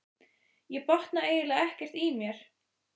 Ég botna eiginlega ekkert í mér.